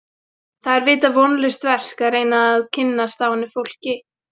Það er vita vonlaust verk að reyna að kynnast dánu fólki.